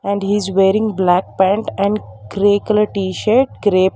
and he is wearing black pant and grey colour t-shirt grep--